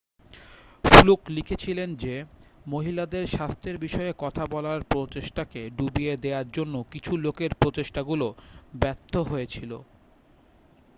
fluke লিখেছিলেন যে মহিলাদের স্বাস্থ্যের বিষয়ে কথা বলার প্রচেষ্টাকে ডুবিয়ে দেয়ার জন্য কিছু লোকের প্রচেষ্টাগুলো ব্যর্থ হয়েছিল